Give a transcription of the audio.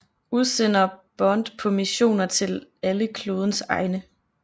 Udsender Bond på missioner til alle klodens egne